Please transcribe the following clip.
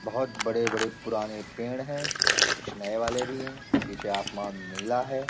बहोत बड़े-बड़े पुराने पेड़ है कुछ नए वाले भी है पीछे आसमान नीला हैं ।